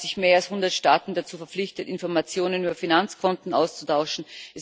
es haben sich mehr als hundert Staaten dazu verpflichtet, Informationen über Finanzkonten auszutauschen.